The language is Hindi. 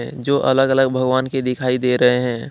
ऐ जो अलग- अलग भगवान की दिखाई दे रहे हैं।